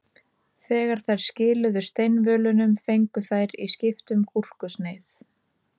Þegar þær skiluðu steinvölunum fengu þær í skiptum gúrkusneið.